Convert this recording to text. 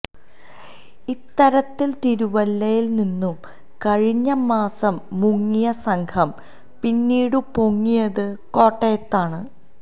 ഇത്തരത്തിൽ തിരുവല്ലയിൽനിന്നു കഴിഞ്ഞ മാസം മുങ്ങിയ സംഘം പിന്നീടു പൊങ്ങിയതു കോട്ടയത്താണ്